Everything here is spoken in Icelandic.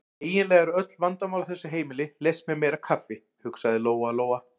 Eiginlega eru öll vandamál á þessu heimili leyst með meira kaffi, hugsaði Lóa-Lóa.